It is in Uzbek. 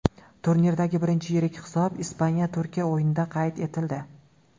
Turnirdagi birinchi yirik hisob Ispaniya Turkiya o‘yinida qayd etildi.